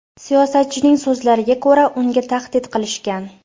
Siyosatchining so‘zlariga ko‘ra, unga tahdid qilishgan.